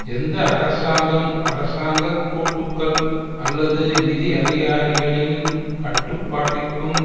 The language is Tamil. எந்த அரசாங்கம் அரசாங்க கூட்டுக்கள் அல்லது நிதி அதிகாரிகளின் கட்டுப்பாட்டிற்கும்